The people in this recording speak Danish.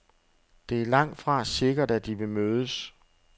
Det er langtfra sikkert, at de vil mødes.